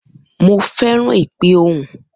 Mo feran ipe ohun.